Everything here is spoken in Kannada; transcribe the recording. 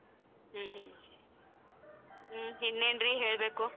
ಹ್ಮ್ ಹ್ಮ್ ಹ್ಮ್ ಇನ್ನೆನ್ರಿ ಹೇಳ್ಬೇಕು.